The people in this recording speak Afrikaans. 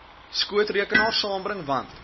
skootrekenaar saambring want